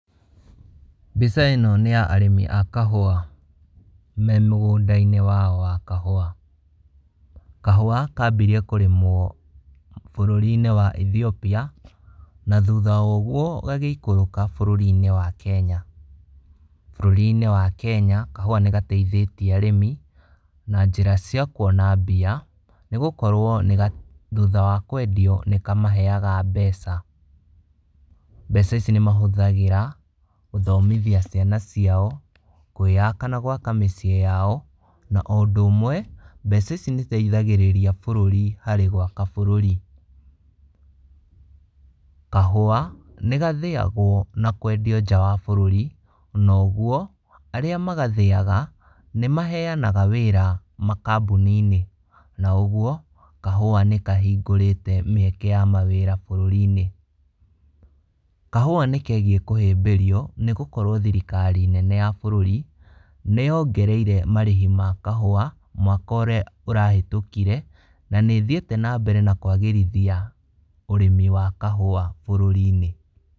Mbica ĩno nĩya arĩmi a kahũa me mũgũndainĩ wao wa kahũa. Kahũa kambirie kũrĩmwo bũrũrinĩ wa Ethiopia, na thutha wa ũguo gagĩikũrũka bũrũrinĩ wa Kenya. Bũrũrinĩ wa Kenya kahũa nĩgateithĩtie arĩmi, na njĩra cia kuona mbia, nĩgũkorwo nĩga thutha wa kwendio nĩkamaheaga mbeca. Mbeca ici nĩmahũthagĩra, gũthomithia ciana ciao, kwĩyaka na gwaka mĩciĩ yao, na o ũndũ ũmwe, mbeca ici nĩciteithagĩrĩria bũrũri harĩ gwaka bũrũri. Kahũa, nĩgathĩagwo na kwendio nja wa bũrũri, ona ũguo, arĩa magathĩaga, nĩmaheanaga wĩra makambũninĩ, na ũguo, kahũa nĩkahingũrite mĩeke ya mawĩra bũrũrinĩ. Kahũa nĩkegiĩ kũhĩmbĩrio, nĩgũkrwo thirikari nene ya bũrũri, nĩyongereire marĩhi ma kahũa, mwaka ũrĩa ũrahetũkire, na nĩthiĩte nambere na kwagĩrithia ũrĩmi wa kahũa bũrũrini.